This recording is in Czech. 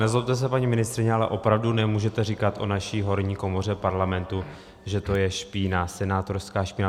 Nezlobte se, paní ministryně, ale opravdu nemůžete říkat o naší horní komoře Parlamentu, že to je špína, senátorská špína.